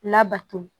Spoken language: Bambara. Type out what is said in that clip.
Labato